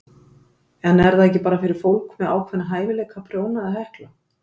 En er það ekki bara fyrir fólk með ákveðna hæfileika að prjóna eða hekla?